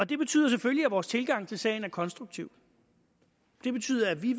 det betyder selvfølgelig at vores tilgang til sagen er konstruktiv det betyder at vi